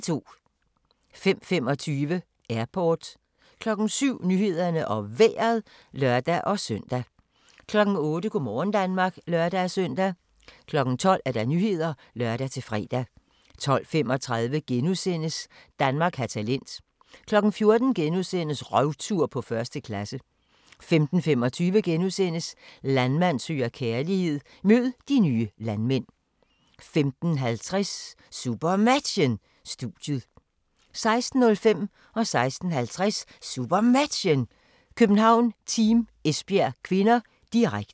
05:25: Airport 07:00: Nyhederne og Vejret (lør-søn) 08:00: Go' morgen Danmark (lør-søn) 12:00: Nyhederne (lør-fre) 12:35: Danmark har talent * 14:00: Røvtur på 1. klasse * 15:25: Landmand søger kærlighed - mød de nye landmænd * 15:50: SuperMatchen: Studiet 16:05: SuperMatchen: København-Team Esbjerg (k), direkte 16:50: SuperMatchen: København-Team Esbjerg (k), direkte